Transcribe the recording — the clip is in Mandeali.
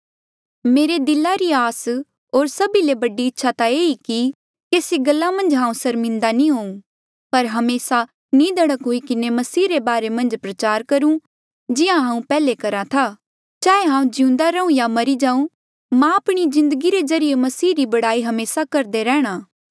मेरे दिला री आस होर सभी ले बड़ी इच्छा ता ये ई कि केसी गल्ला मन्झ हांऊँ सर्मिन्दा नी होऊं पर हमेसा निधड़क हुई किन्हें मसीह रे बारे मन्झ प्रचार करु जिहां हांऊँ पैहले करहा था चाहे हांऊँ जिउंदा रहूं या मरी जाऊं मेरी जिन्दगी रे ज्रीए मसीह री बढ़ाई हमेसा करदा रैहणा